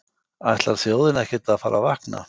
Ætlar þjóðin ekkert að fara að vakna?